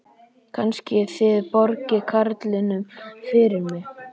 Kannski þið borgið karlinum fyrir mig.